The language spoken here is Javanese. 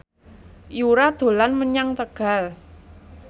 Yura dolan menyang Tegal